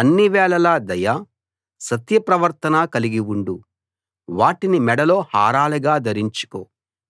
అన్ని వేళలా దయ సత్య ప్రవర్తన కలిగి ఉండు వాటిని మెడలో హారాలుగా ధరించుకో